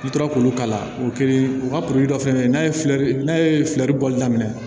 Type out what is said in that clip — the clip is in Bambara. N'i tora k'olu kala o kiri u ka poli dɔ fɛngɛ n'a ye fiyɛli n'a ye filɛri bɔli daminɛ